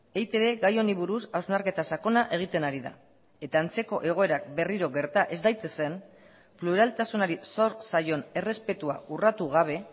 eitb gai honi buruz hausnarketa sakona egiten ari da eta antzeko egoerak berriro gerta ez daitezen pluraltasunari zor zaion errespetua urratu gabe